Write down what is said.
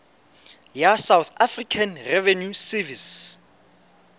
ya south african revenue service